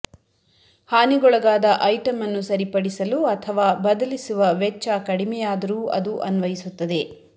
ಹಾನಿಗೊಳಗಾದ ಐಟಂ ಅನ್ನು ಸರಿಪಡಿಸಲು ಅಥವಾ ಬದಲಿಸುವ ವೆಚ್ಚ ಕಡಿಮೆಯಾದರೂ ಅದು ಅನ್ವಯಿಸುತ್ತದೆ